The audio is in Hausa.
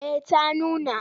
Eh ta nuna.